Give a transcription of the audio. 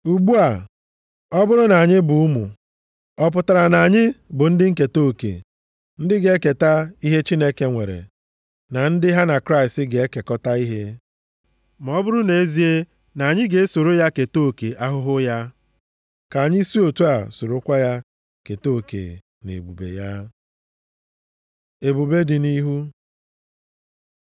Ugbu a, ọ bụrụ na anyị bụ ụmụ, ọ pụtara na anyị bụ ndị nketa oke, ndị ga-eketa ihe Chineke nwere, na ndị ha na Kraịst ga-ekekọta ihe, ma ọ bụrụ nʼezie na anyị ga-esoro ya keta oke ahụhụ ya, ka anyị si otu a sorokwa ya keta oke nʼebube ya. Ebube dị nʼihu